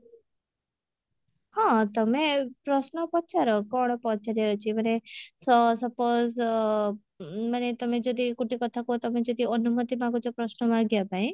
ହଁ ତମେ ପ୍ରଶ୍ନ ପଚାର କଣ ପଚାରିବାର ଅଛି ମାନେ ସ suppose ଅ ମାନେ ତମେ ଯଦି ଗୋଟେ କଥା କୁହ ତମେ ଯଦି ଅନୁମତି ମାଗୁଛ ପ୍ରଶ୍ନ ମାଗିବା ପାଇଁ